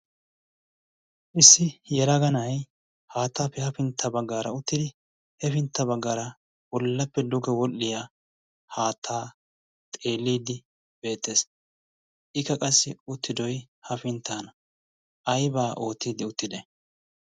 Issi yelaga na'aay haattaappe hafintta baggaara uttidi hefintta baggaara bollappe duge wodhdhiya haattaa xeeliiddi beettees. Ikka qassi uttidoy hafinttaana. Aybaa oottiiddi uttide?